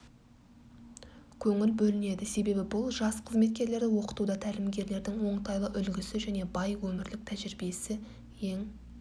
көңіл бөлінеді себебі бұл жас қызметкерлерді оқытуда тәлімгерлердің оңтайлы үлгісі және бай өмірлік тәжірибесі ең